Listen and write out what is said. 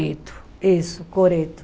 Coreto isso, coreto.